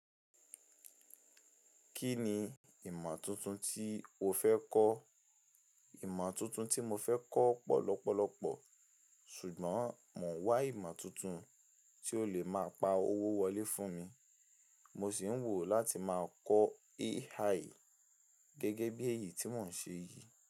Kí ni ìmọ̀ tuntun tí o fẹ́ kọ́? Ìmọ̀ tuntun tí mo fẹ́ kọ́ pọ̀ lọ́pọ̀lọ́pọ̀, ṣùgbọ́n mo wá ìmọ̀ tuntun tí ó lè máa pa owó wọlé fún mi. Mo sì ń wò láti máa kọ́ AI gẹ́gẹ́ bí èyí tí wọ́n ṣe yìí.